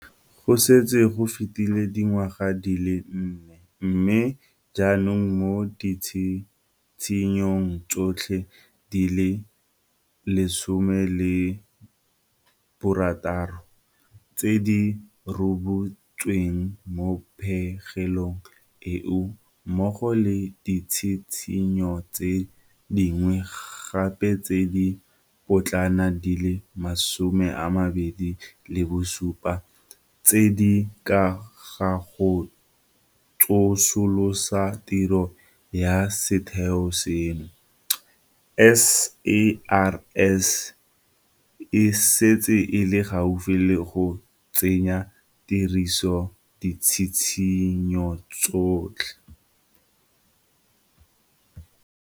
Go setse go fetile dingwaga di le nne, mme jaanong mo ditshitshinyong tsotlhe di le 16 tse di rebotsweng mo pegelong eo mmogo le ditshitshinyo tse dingwe gape tse di potlana di le 27 tse di ka ga go tsosolosa tiro ya setheo seno, SARS e setse e le gaufi le go tsenya tirisong ditshitshinyo tsotlhe.